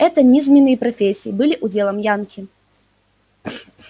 это низменные профессии были уделом янки